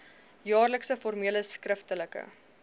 jaarlikse formele skriftelike